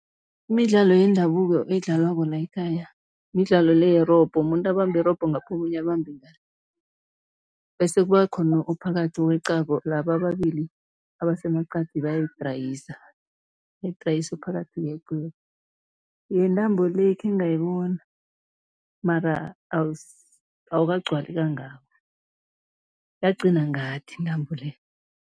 Imidlalo yendabuko edlalwako la ekhaya midlalo le yerobho, umuntu abambe irobho ngapha, omunye abambe ngale bese kuba khona ophakathi oweqako, laba ababili abasemaqadi bayayidrayisa, bayidrayisa phakathi Yentambo le, khengayibona mara awukagcwali kangako, yagcina ngathi intambo le.